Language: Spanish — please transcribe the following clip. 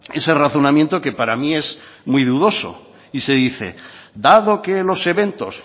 ese razonamiento que para mí es muy dudoso y se dice dado que los eventos